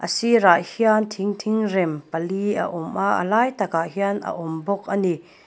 sirah hian thing thingrem pali a awm a a lai takah hian a awm bawk ani.